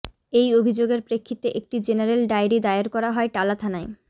এই অভিযোগের প্রেক্ষিতে একটি জেনারেল ডায়েরি দায়ের করা হয় টালা থানায়